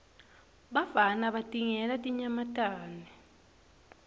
bafana batingela tinyamatane